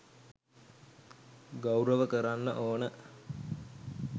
ගෞරව කරන්න ඕන.